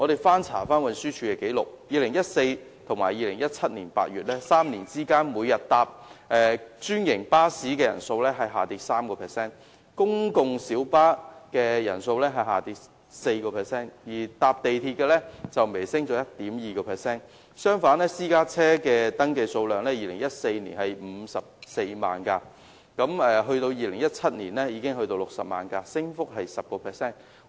翻查運輸署的紀綠，由2014年至2017年8月的3年間，每天乘坐專營巴士的人數下降 3%， 公共小巴的人數下跌 4%， 而乘坐地鐵的人則微升 1.2%； 相反，私家車的登記數量 ，2014 年有54萬輛，至2017年則增加至60萬輛，升幅達 10%。